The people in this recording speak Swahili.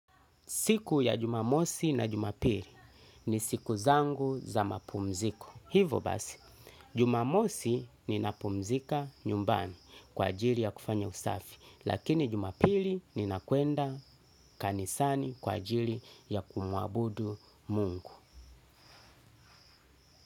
Siku ya jumamosi na jumapili ni siku zangu za mapumziko. Hivyo basi, jumamosi ninapumzika nyumbani kwa ajili ya kufanya usafi, lakini jumapili ninakwenda kanisani kwa ajili ya kumuabudu mungu.